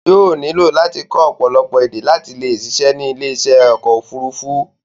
Yóò nílò láti kọ́ ọ̀pọ̀lọpọ̀ èdè láti le ṣiṣẹ́ ní ilé iṣẹ́ ọkọ̀ òfurufú.